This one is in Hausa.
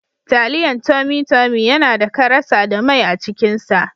Taliyan tummy tummy yanada karasa da mai acikin sa.